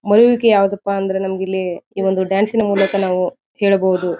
ಮರೆಯುವುದಕ್ಕೆ ಯಾವುದಪ್ಪಾ ಅಂದ್ರೆ ನಮಗಿಲ್ಲಿ ಈ ಒಂದು ಡಾನ್ಸ್ ನ ಮೂಲಕ ನಾವು ಹೇಳಬಹುದು.